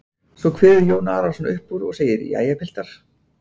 Svo kveður Jón Arason upp úr og segir:-Jæja, piltar.